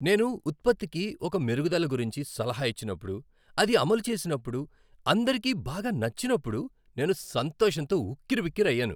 నేను ఉత్పత్తికి ఒక మెరుగుదల గురించి సలహా ఇచ్చినప్పుడు, అది అమలు చేసినప్పుడు, అందరికీ బాగా నచ్చినప్పుడు నేను సంతోషంతో ఉక్కిరిబిక్కిరి అయ్యాను.